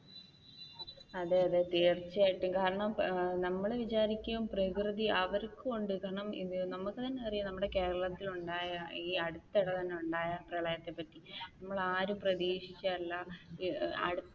അതെ അതെ തീർച്ചയായിട്ടും കാരണം നമ്മൾ വിചാരിക്കും പ്രകൃതി അവർക്കുമുണ്ട് കാരണം നമുക്ക് തന്നെ അറിയാം നമ്മുടെ കേരളത്തിൽ ഉണ്ടായ ഈ അടുത്തിടെ തന്നെ ഉണ്ടായ പ്രളയത്തെ പറ്റി നമ്മൾ ആരും പ്രതീക്ഷിച്ചതല്ല ഈ അടുത്ത